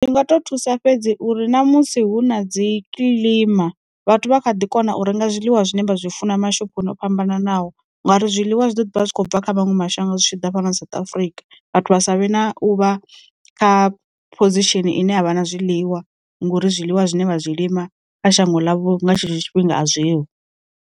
Ndi nga to thusa fhedzi uri na musi hu na dzi kilima vhathu vha kha ḓi kona u renga zwiḽiwa zwine vha zwi funa mashoponi o fhambananaho, ngauri zwiḽiwa zwi ḓo vha zwi khou bva kha maṅwe mashango zwi tshi ḓa fhano South Africa, vhathu vha savhe na u vha kha phozishini ine a vha na zwiḽiwa ngori zwiḽiwa zwine vha zwi lima kha shango ḽavho nga tshetsho tshifhinga a zwi ho.